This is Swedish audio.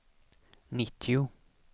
nittio